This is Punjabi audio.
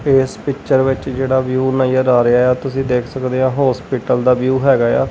ਏਸ ਪਿੱਚਰ ਵਿੱਚ ਜਿਹੜਾ ਵਿਊ ਨਜ਼ਰ ਆ ਰਿਹਾ ਏ ਆ ਤੁਸੀ ਦੇਖ ਸਕਦੇ ਆ ਹੌਸਪੀਟਲ ਦਾ ਵਿਊ ਹੈਗਾ ਏ ਆ।